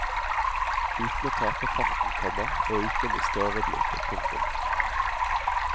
Uten å tape farten, komma og uten å miste overblikket. punktum